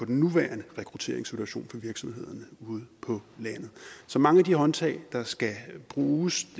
den nuværende rekrutteringssituation for virksomhederne ude på landet så mange af de håndtag der skal bruges